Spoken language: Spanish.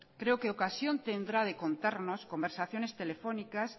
creo que ocasión tendrá de contarnos conversaciones telefónicas